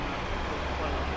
Burda da qalıb burda.